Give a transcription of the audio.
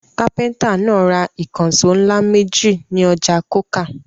Kápẹ́ńtà náà ra ìkànṣó ńlá méjì ní ọjà Coker.